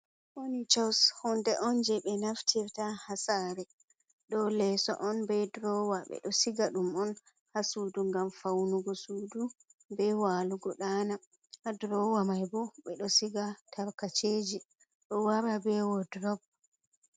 Fonichos: Hunde on je ɓe naftirta ha sare. Ɗo leso on be drowa ɓeɗo siga ɗum on ha sudu ngam faunugo sudu, be walugo ɗana. Ha drowa mai bo, ɓedo siga tarkaceji. Ɗo wara be wodrob.